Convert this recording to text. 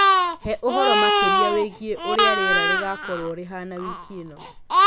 He ũhoro makĩria wĩgiĩ ũrĩa rĩera rĩgukorũo rĩhana wiki ĩno.